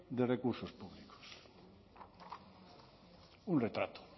de recursos públicos un retrato